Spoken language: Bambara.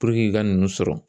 i ka ninnu sɔrɔ